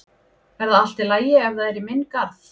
Er það allt í lagi ef það er í minn garð?